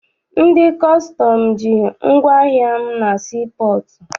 Ndị kọstọm ji ngwaahịa m na sii pọọtụ.